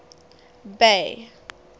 bay